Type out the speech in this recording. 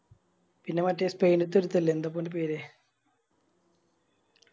പിന്നെ മറ്റേ സ്പെയിൻത്തെ ഒരിത്തനില്ല എന്താപ്പോ ഓൻറെ പേര്